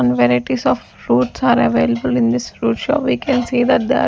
and varieties of fruits are available in this fruit shop we can see that the --